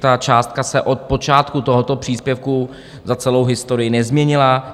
Ta částka se od počátku tohoto příspěvku za celou historii nezměnila.